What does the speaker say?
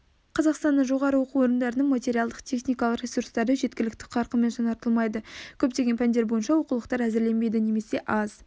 қазақстанның жоғары оқу орындарының материалдық-техникалық ресурстары жеткілікті қарқынмен жаңартылмайды көптеген пәндер бойынша оқулықтар әзірленбейді немесе аз